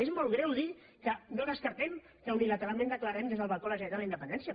és molt greu dir que no descartem que unilateralment declarem des del balcó de la generalitat la independència